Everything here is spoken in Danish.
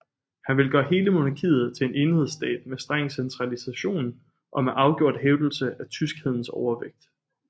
Han ville gøre hele monarkiet til en enhedsstat med streng centralisation og med afgjort hævdelse af tyskhedens overvægt